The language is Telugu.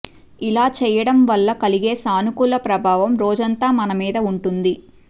ఇలా చేయడం వల్ల కలిగే సానుకూల ప్రభావం రోజంతా మనమీద ఉంటుంది